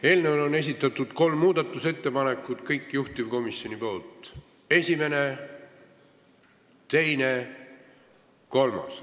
Eelnõu kohta on esitatud kolm muudatusettepanekut, kõik juhtivkomisjonilt: esimene, teine ja kolmas.